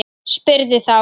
Spurði þá